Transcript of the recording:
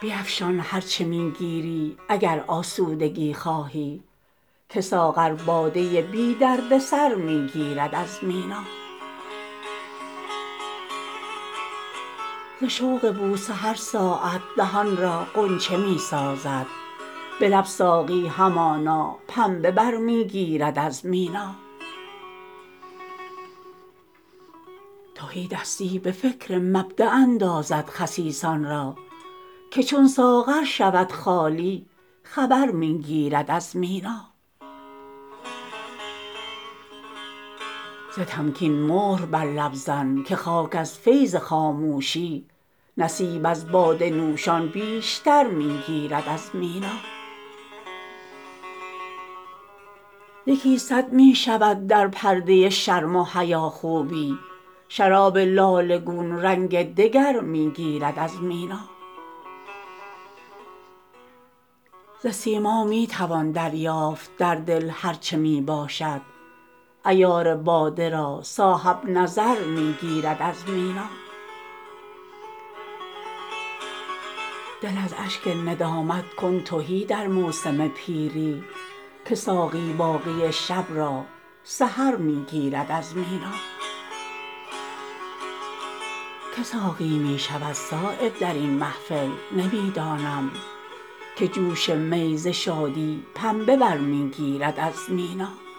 بیفشان هر چه می گیری اگر آسودگی خواهی که ساغر باده بی دردسر می گیرد از مینا ز شوق بوسه هر ساعت دهان را غنچه می سازد به لب ساقی همانا پنبه بر می گیرد از مینا تهیدستی به فکر مبداء اندازد خسیسان را که چون ساغر شود خالی خبر می گیرد از مینا ز تمکین مهر بر لب زن که خاک از فیض خاموشی نصیب از باده نوشان بیشتر می گیرد از مینا یکی صد می شود در پرده شرم و حیا خوبی شراب لاله گون رنگ دگر می گیرد از مینا ز سیما می توان دریافت در دل هر چه می باشد عیار باده را صاحب نظر می گیرد از مینا دل از اشک ندامت کن تهی در موسم پیری که ساقی باقی شب را سحر می گیرد از مینا که ساقی می شود صایب درین محفل نمی دانم که جوش می ز شادی پنبه برمی گیرد از مینا